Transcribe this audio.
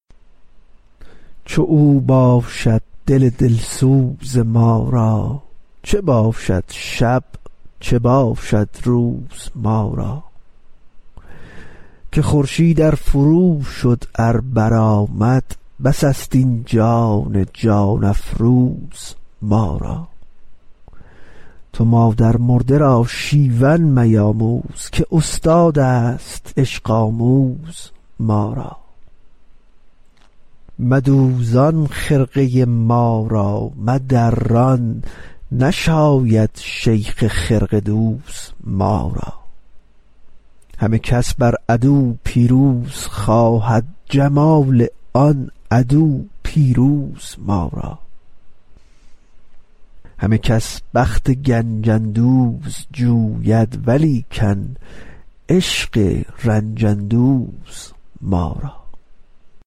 چو او باشد دل دل سوز ما را چه باشد شب چه باشد روز ما را که خورشید ار فروشد ار برآمد بس است این جان جان افروز ما را تو مادرمرده را شیون میآموز که استادست عشق آموز ما را مدوزان خرقه ما را مدران نشاید شیخ خرقه دوز ما را همه کس بر عدو پیروز خواهد جمال آن عدو پیروز ما را همه کس بخت گنج اندوز جوید ولیکن عشق رنج اندوز ما را